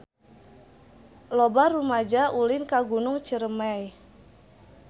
Loba rumaja ulin ka Gunung Ciremay